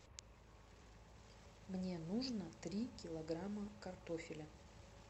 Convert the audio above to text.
мне нужно три килограмма картофеля